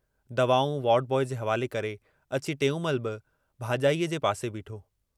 दवाऊं ward boy जे हवाले करे अची टेऊंमल बि भाजाईअ जे पासे बीठो।